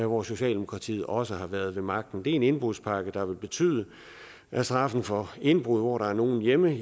hvor socialdemokratiet også har været ved magten det er en indbrudspakke der vil betyde at straffen for indbrud hvor der er nogen hjemme